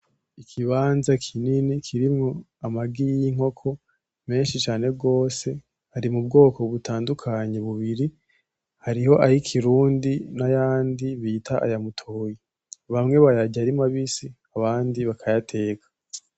Ikimbaza kinini kirimwo amagi y'inkoko menshi cane gose, ari mubwoko butandukanye bubiri, hariho ay'ikirundi nayandi bita aya mutoyi. Bamwe bayarya ari mabisi abandi bakayateka.